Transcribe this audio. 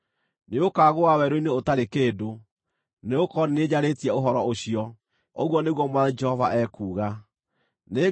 Nĩũkagũa werũ-inĩ ũtarĩ kĩndũ, nĩgũkorwo nĩ niĩ njarĩtie ũhoro ũcio, ũguo nĩguo Mwathani Jehova ekuuga.